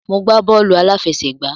Mo gbá bọ́ọ̀lù àláfẹsẹ̀gbá.